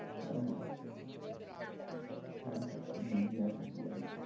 হ্যাঁ হ্যাঁ হ্যাঁ হ্যাঁ হ্যাঁ আমিনিয়াতে বিরিয়ানি খাবো।